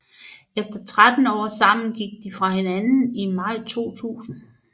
Efter 13 år sammen gik de fra hinanden i maj 2000